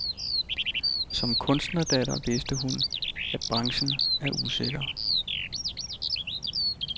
Som kunstnerdatter vidste hun, at branchen er usikker.